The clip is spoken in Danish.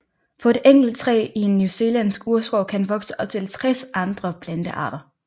På et enkelt træ i en newzealandsk urskov kan vokse op til 60 andre plantearter